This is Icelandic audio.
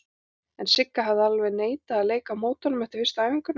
En Sigga hafði alveg neitað að leika á móti honum eftir fyrstu æfinguna.